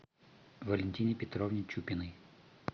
валентине петровне чупиной